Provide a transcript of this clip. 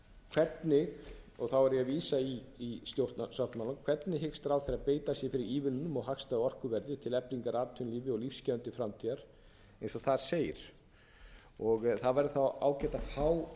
hvernig og þá er ég að vísa í stjórnarsáttmálann hvernig vill hæstvirtur ráðherra beita sér fyrir ívilnunum og hagstæðu orkuverði til eflingar atvinnulífi og lífsgæðum til framtíðar eins og þar segir það væri þá ágætt að fá